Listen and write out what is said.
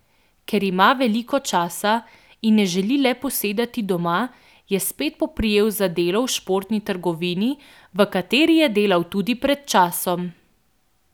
Ker ima veliko časa in ne želi le posedati doma, je spet poprijel za delo v športni trgovini, v kateri je delal tudi pred časom.